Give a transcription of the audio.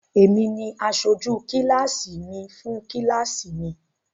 Èmi ni asojú kíláásì mi fún kíláásì mi.